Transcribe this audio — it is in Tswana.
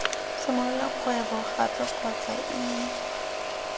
simolola kgwebo gape kgotsa ii